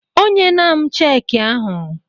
O nyela m cheekị ahụ.